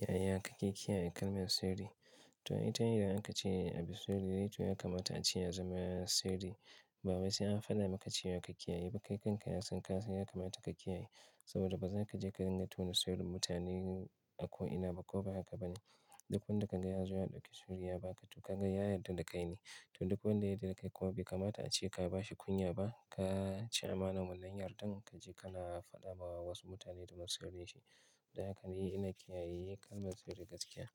Yaya kake kiyaye kalmar sirri? To ne idan aka ce abu sirrine, to ya kamata a ce yazama yana sirri. Bawai sai an faɗa maka cewa ka kiyayeba. Kai kanka ya san ka sai ya kamata ka kiyaye saboda bazaka je ka ringa tona sirrin mutane ko ina ba ko ba haka ba ne. Duk wanda ka ga ya zo ya ɗauki sirri ya ba ka, to ka ga ya yadda da kai ne. To duk wanda ya yadda da kai kuma bai kamata ace ka ba shi kunya ba, ka ci amanan wannan yardan ka je ka na faɗa ma wasu mutane domin su shirye shi. Dan haka ni ina kiyaye kalmar sirri gaskiya.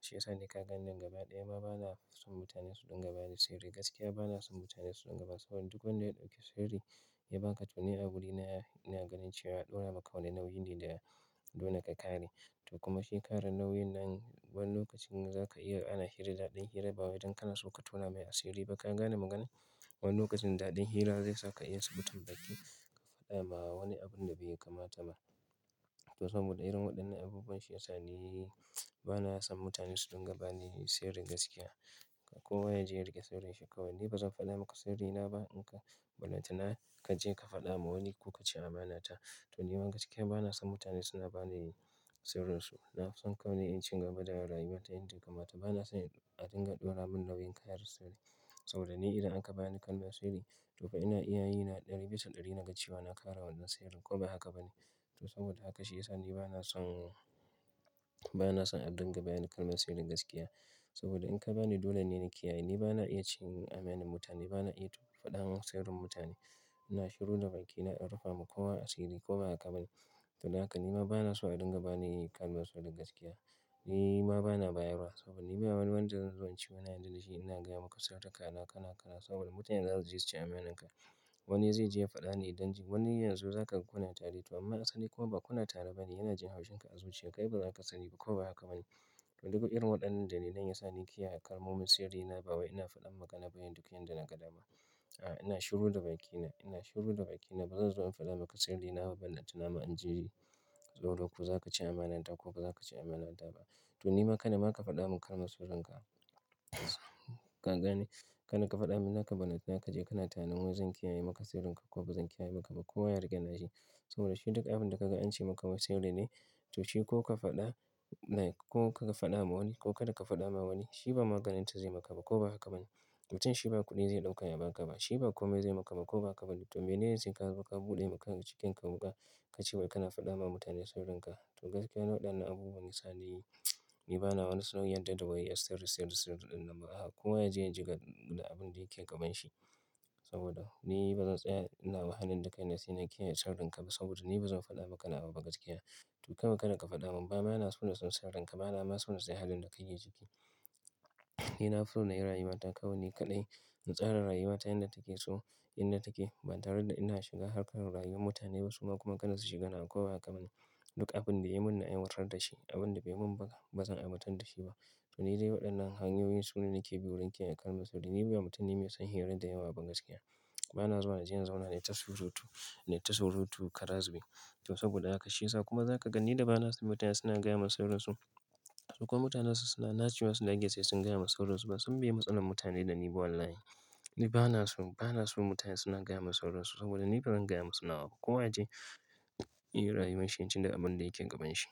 Shi ya sa naka ganni gaba ɗaya ma bana so mutane su dinga bani sirri gaskiya. Bana son mutane su dinga bani saboda duk wanda ya ɗauki sirri ya ba ka, to ne agurina ina ganin cewa yaɗora maka wani nau'i ne da dole ka kare. To kuma shi kare nau'in nan, wani lokacin zaka iya ana hira daɗin hira ba wai don kana so ka tona mai asiri ba. Ka gane maganar? Wani lokacin daɗin hira zai saka iya sabutar baki ka faɗa ma wani abun da bai kamata ba. To saboda irin waɗannan abubuwan, shi ya sa ni bana son mutane su dinga bani sirri gaskiya. Kowa yaje ya rike sirrinsa ni bazan fada maka sirrina ba ballantana kaje ka fadawa wani ko kaci amanata to nima gaskiya bana son mutane suna bani sirrin su. Nafison kawai ni in cigaba da rayuwata yadda ya kamata bani son adinga dora min nauyi karsai saboda ni idan an ka bani kalmar sirri, to fa ina iya yi na ɗari bisa ɗari na ga cewa na kare wannan sirrin ko ba haka ba ne. To saboda haka shi ya sa ni bana son, bana son a dinga bani kalmar sirri gaskiya. Saboda in ka bani, dole ne ni na kiyaye. Ni bana iya cin amanan mutane, bana iya faɗan sirrin mutane. Ina shiru da bakina in rufa ma kowa asiri ko ba haka ba ne. To dan haka ni ma bana so a dinga bani kalmar sirrin gaskiya. Ni ma bana bayarwa saboda ni ba wani wanda zan zo in ci, yana yarda da shi ina gaya maka sirrikana kala kala saboda mutanen za su ji su ci amaninka. Wani zai je ya faɗa ne idan ji, wani yanzu zaka kuna tare to amma asali kuma bakuna tare ba ne. Yana jin haushin ka a zuciya. Kai bazaka sani ba ko ba haka ba ne. To duk irin waɗannan dalilan ya sa ni kiyaye kalmomin sirrin na. Bawai ina faɗan magana bayan duk yanda na ga dama. A ina shiru da bakina ina shiru da bakina bazanzo ina fada maka sirri naba ballantanama inzo saboda ko zaka ci amana ta ko bazaka ci amana ta ba. To ni ma kana ma ka faɗa mun kalmar sirrin ka. Ka gane? Kada ka faɗa mun, naka ɓalanta, ka je kana tananin wai zan kiyaye maka sirrin ka ko bazan kiyaye maka ba. Ko wa ya riƙe na shi saboda shi duk abin da kaga an ce maka ma sirri ne. To shi ko kafada like ko kafada ma wani ko kada ma fadama wani shi ba maganinsa zai maka ba koba haka bane. Mutum shi ba kuɗi zai ɗauka ya ba ka ba. Shi ba kome zai maka ba ko ba haka ba ne. To me ne yanzu ka zo ka buɗe maka cikin ka kuka, ka ce wai kana faɗa ma mutane sirrin ka. To gaskiya na wadannan abubuwan, yi sa ni bana wani san yarda da wai iya sirri, sirri, sirri ɗin nan ba. Ko waye ya je ya jiga da abin da yake gaban shi. Saboda ni bazan tsaya ina wahalan da kai na siyan kiyaye sirrin ka ba saboda ni bazan faɗa maka nawa ba gaskiya. To kawau kada ka faɗa mun. Bama na so na san sirrin ka, bana ma so na san halin da kake ciki. Ni na fi so na yi rayuwata kawai ni kaɗai. In tsara rayuwata yadda take so, inda take ba tare da ina shiga harkar rayuwar mutane ba su ma kuma kada su shiga nawa ko ba haka ba ne. Duk abinda yayi min na aiwatar dashi abinda baimin ba bazan aiwatar dashi ba to ni dai waɗannan hanyoyin su ne nake bi wurin kiyaye kalmar sirri. Ni ba mutum ne me son hira da yawa ba gaskiya. Bana zuwa inje in zauna na yi tasurutu, na yi tasurutu karas jibe. To saboda haka shi ya sa kuma za ka gani da bana son mutane suna gaya mun sirrin su. Sukuma mutane wasu suna, nacewa su dage sai sun gaya mun sirrin su ba. Sun miye matsalar mutane da ni, ba wallahi. Ni banaso banason mutane suna gayamin sirrinsu saboda ni bazan gaya musu nawa ba ko waya je ya yi rayuwan shi yaji da abin da yake gaban shi.